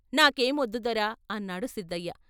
"నాకేం వొద్దు దొరా" అన్నాడు సిద్ధయ్య.